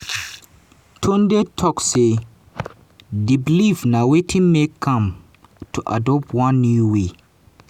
tunde tok say: di believe na wetin make am to adopt one new way